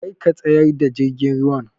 Kar ka tsayar da jirgin ruwan!